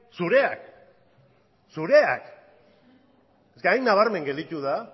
zureak eske hain nabarmen gelditu da